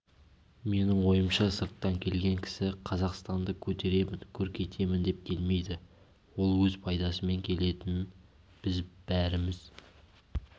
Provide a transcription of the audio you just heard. менің ойымша сырттан келген кісі қазақстанды көтеремін көркейтемін деп келмейді ол өз пайдасымен келетінін біз бәріміз